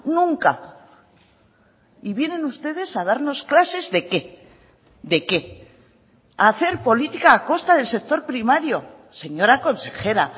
nunca y vienen ustedes a darnos clases de qué de qué hacer política a costa del sector primario señora consejera